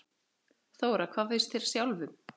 Þóra: Hvað finnst þér sjálfum?